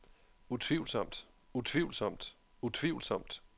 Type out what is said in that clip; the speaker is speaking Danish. utvivlsomt utvivlsomt utvivlsomt